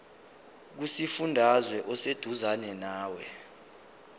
kusifundazwe oseduzane nawe